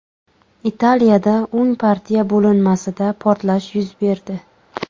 Italiyada o‘ng partiya bo‘linmasida portlash yuz berdi.